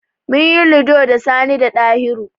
Min yi Ludo da Sani da Ɗahiru.